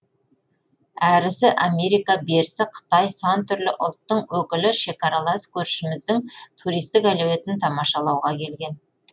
әрісі америка берісі қытай сан түрлі ұлттың өкілі шекаралас көршіміздің туристік әлеуетін тамашалауға келген